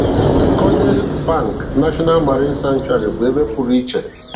Cordell Bank National Marine Sanctuary bụ ebe pụrụ iche